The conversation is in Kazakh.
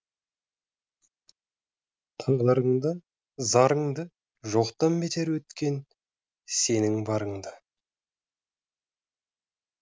тағдырыңды зарыңды жоқтан бетер еткен сенің барыңды